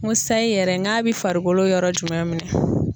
N ko sayi yɛrɛ n k'a bɛ farikolo yɔrɔ jumɛn minɛn?